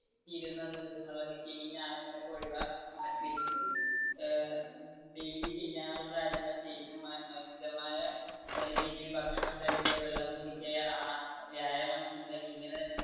ഏർ daily ചെയ്യാനുള്ള കാര്യങ്ങൾ ചെയ്തു മിതമായ രീതിയിൽ ഭക്ഷണം കഴിക്കുക, വെള്ളം കുടിക്കുക, വ്യായാമം ചെയ്യുക ഇങ്ങനെ തന്നെ